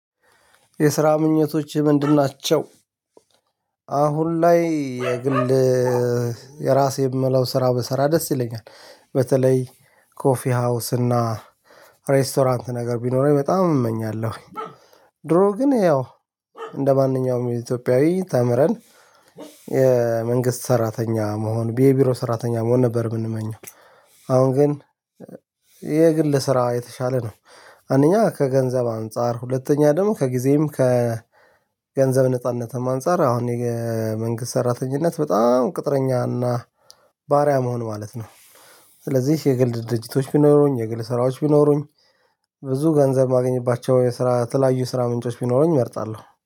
የስራ ምኞቶች ምንድን ናቸው? አሁን ላይ የግል የራሴ የምለው ስራ ብሰራ ደስ ይለኛል። በተለይ ኮፊ ሀውስ እና ሬስቶራንት ነገር ቢኖረኝ በጣም እመኛለሁኝ። ድሮ ግን ያው እንደማንኛውም የኢትዮጵያዊ ተምረን የመንግስት ሰራተኛ መሆን የቢሮ ሰራተኛ መሆን ነበር የምንመኘው። አሁን ግን የግል ስራ የተሻለ ነው። አንደኛ ከገንዘብ አንፃር ሁለተኛ ደግሞ ከጊዜም ከ ከገንዘብ ነጻነትም አንፃር አሁን መንግስት ሰራተኝነት በጣም ቅጥረኛ እና ባሪያ መሆን ማለት ነው። ስለዚህ የግል ድርጅቶች ቢኖሩኝ የግል ስራዎች ቢኖሩኝ ብዙ ገንዘብ ማግኝባቸው የስራ ተለያዩ ስራ ምንጮች ቢኖሩኝ እመርጣለሁ